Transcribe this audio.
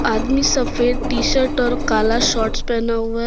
आदमी सफेद टीशर्ट और काला शर्ट पहना हुआ है।